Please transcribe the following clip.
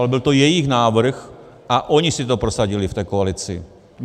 Ale byl to jejich návrh a oni si to prosadili v té koalici.